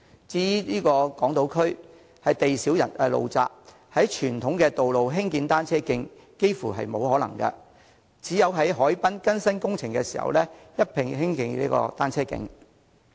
至於港島區，地小路窄，在傳統道路興建單車徑，幾乎是沒有可能的，只能在海濱進行更新工程時，一併興建單車徑。